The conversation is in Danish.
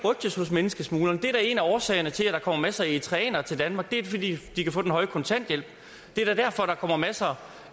menneskesmuglerne det er da en af årsagerne til at der kommer masser af eritreanere til danmark det er fordi de kan få den høje kontanthjælp det er da derfor at der kommer masser